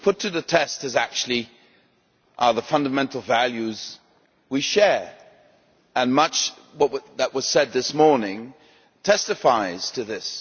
What is being put to the test is actually the fundamental values we share, and much that was said this morning testifies to this.